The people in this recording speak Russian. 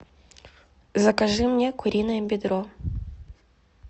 закажи мне куриное бедро